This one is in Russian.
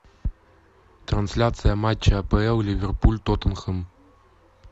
трансляция матча апл ливерпуль тоттенхэм